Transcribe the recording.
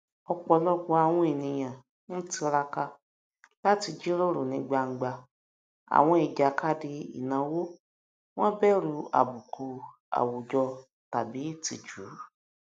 ọpọlọpọ àwọn ènìyàn ń tiraka láti jíròrò ní gbangba àwọn ìjàkadì ináwó wọn bẹrù àbùkù àwùjọ tàbí ìtìjú